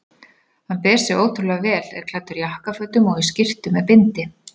Hann ber sig ótrúlega vel, er klæddur jakkafötum og í skyrtu með bindi.